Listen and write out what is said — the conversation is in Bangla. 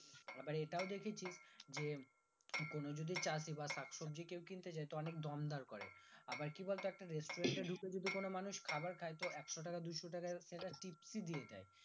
আবার এটাও দেখে ছিস যে কোনো যদি চাষি বা শাকসবজি কেও কিনতে যাই তো অনেক দম দর করে আবার কি বলতো একটা restaurant এ ঢুকে যদি কোনো মানুষ খাবার খাই তো একশো দুশো টাকা সেটা tipsi দিয়ে দেয়